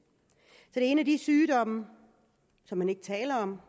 og en af de sygdomme som man ikke taler om